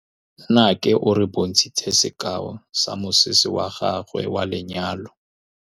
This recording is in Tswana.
Nnake o re bontshitse sekaô sa mosese wa gagwe wa lenyalo.